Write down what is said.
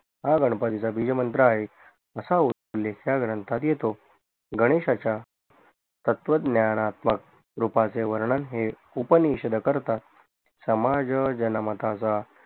हा गणपतीचा द्विज मंत्र आहे असा उलेख या ग्रंथात येतो गणेशाच्या तत्वज्ञानात्मक कृपाचे वर्णन हे उपनिषद करतात समाज जनमताचा